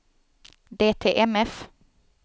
DTMF